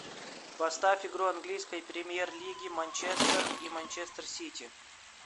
поставь игру английской премьер лиги манчестер и манчестер сити